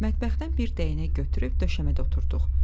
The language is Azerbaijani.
Mətbəxdən bir dəyənək götürüb döşəmədə oturduq.